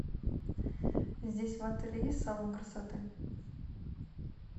здесь в отеле есть салон красоты